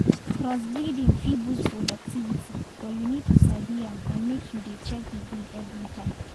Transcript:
crossbreeding fit boost productivity but you need to sabi am and make you dey check the breed everytime.